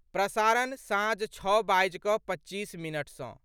प्रसारण, साँझ छओ बाजि कऽ पच्चीस मिनट सँ